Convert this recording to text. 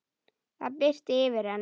Það birti yfir henni.